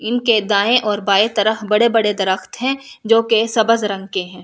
इनके दाएं और बाएं तरफ बड़े बड़े दरख्त हैं जो की सबज रंग के हैं।